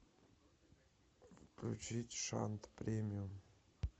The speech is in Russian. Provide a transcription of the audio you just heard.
включить шант премиум